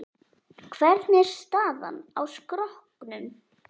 Hvernig er staðan á skrokknum?